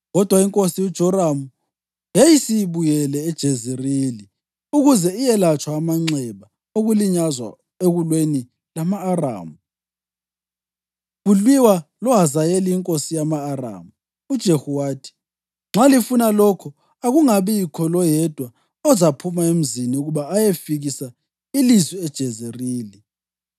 kodwa inkosi uJoramu yayisibuyele eJezerili ukuze yelatshwe amanxeba okulinyazwa ekulweni lama-Aramu kulwiwa loHazayeli inkosi yama-Aramu.) UJehu wathi, “Nxa lifuna lokho, akungabikho loyedwa ozaphuma emzini ukuba ayefikisa ilizwi eJezerili.”